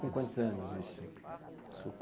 Com quantos anos isso? Isso